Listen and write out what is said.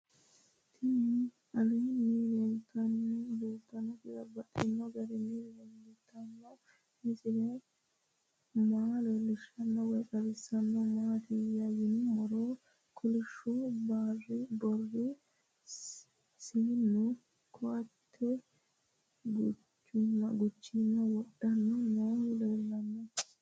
Tinni aleenni leelittannotti babaxxittinno garinni leelittanno misile maa leelishshanno woy xawisannori maattiya yinummoro kolishu barri seennu koate guchaammu woriiddo noohu leellanno